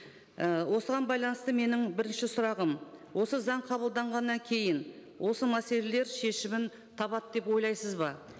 і осыған байланысты менің бірінші сұрағым осы заң қабылданғаннан кейін осы мәселелер шешімін табады деп ойлайсыз ба